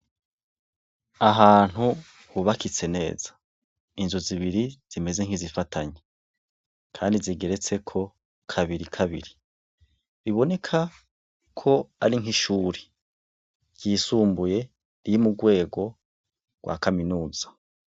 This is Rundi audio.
Ahantu hubakitse neza, inzu zibiri zimeze nkizifatanye kandi zigeretseko kabiri kabiri, iboneka ko ari nk’ishure ryisumbuye iri mu rwego rwa kaminuza.